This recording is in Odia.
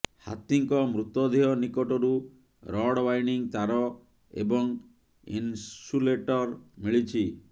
ହାତୀଙ୍କ ମୃତଦେହ ନିକଟରୁ ରଡ୍ ବାଇଣ୍ଡିଙ୍ଗ ତାର ଏବଂ ଇନ୍ସୁଲେଟର ମିଳିଛି